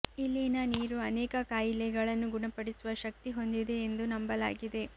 ಇಲ್ಲಿನ ನೀರು ಅನೇಕ ಖಾಯಿಲೆಗಳನ್ನು ಗುಣಪಡಿಸುವ ಶಕ್ತಿ ಹೊಂದಿದೆ ಎಂದು ನಂಬಲಾಗಿದೆ